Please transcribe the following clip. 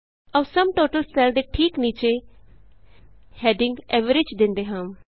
ਆਉ sum total cell ਦੇ ਠੀਕ ਨੀਚੇ ਹੈਡਿੰਗ Averageਦੇਂਦੇ ਹਾਂ